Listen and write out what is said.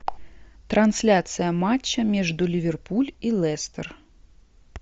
трансляция матча между ливерпуль и лестер